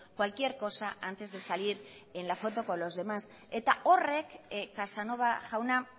cualquier cosa antes de salir en la foto con los demás eta horrek casanova jauna